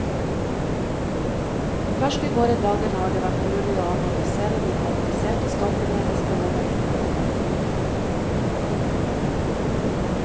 Først i våre dager har det vært mulig å analysere de kompliserte stoffene hestehoven inneholder.